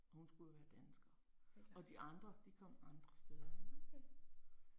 Og hun skulle jo være dansker. Og de andre, de kom andre steder hen